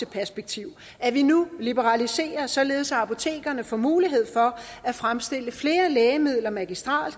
perspektiv at vi nu liberaliserer således at apotekerne får mulighed for at fremstille flere lægemidler magistrelt og